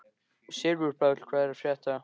Sigurpáll, hvað er að frétta?